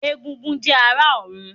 Egúngún jẹ́ ará ọ̀run